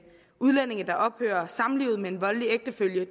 udlændinge der ophører med samlivet med en voldelig ægtefælle